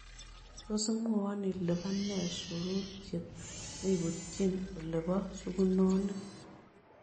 Tos' iimwawon ile po nee suruurchet nebutyiin ole po sugunonik